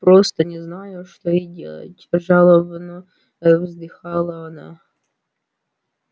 просто не знаю что и делать жалобно вздыхала она